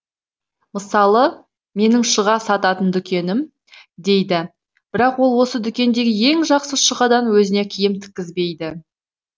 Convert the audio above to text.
мысалы менің шұға сататын дүкенім дейді бірақ ол осы дүкендегі ең жақсы шұғадан өзіне киім тіккізбейді